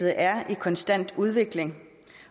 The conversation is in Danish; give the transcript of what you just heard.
er i konstant udvikling